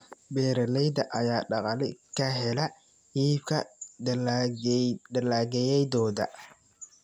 Beeralayda ayaa dakhli ka hela iibka dalagyadooda.